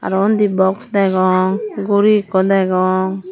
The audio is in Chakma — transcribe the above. aro undi box degong gori ekku degong.